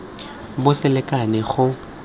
bo se lekane go ka